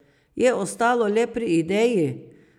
Je ostalo le pri ideji?